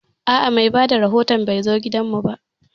A'a, mai bada rahoton bai zo gidan mu ba